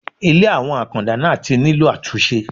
Ilé àwọn Àkàndá náà tí nílò àtúnṣe.